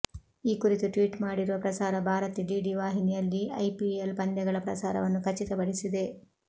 ಈ ಕುರಿತು ಟ್ವೀಟ್ ಮಾಡಿರುವ ಪ್ರಸಾರ ಭಾರತಿ ಡಿಡಿ ವಾಹಿನಿಯಲ್ಲಿ ಐಪಿಎಲ್ ಪಂದ್ಯಗಳ ಪ್ರಸಾರವನ್ನು ಖಚಿತ ಪಡಿಸಿದೆ